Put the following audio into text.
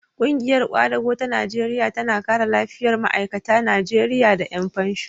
Ƙungiyar ƙwadago ta Najeriya tana kare lafiyar ma'aikata Najeriya da ƴan fansho.